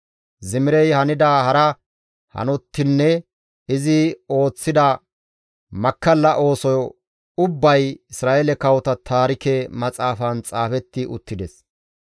Zimirey hanida hara hanotinne izi ooththida makkalla oosoy ubbay Isra7eele kawota taarike maxaafan xaafetti uttides.